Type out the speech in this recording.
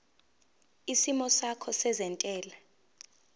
isimo sakho sezentela